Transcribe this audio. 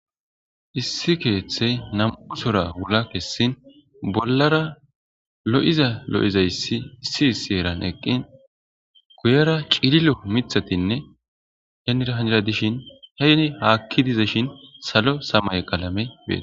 issi kethe namu'u sora wula kesini bollara loyiza loyizayisi issi issi herani eqini guyera cililo mithatine henira heni haki dizashin salo samaye qalame betesi